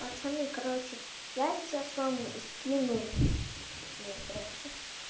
пацаны короче я сейчас вам скину блин здравствуйте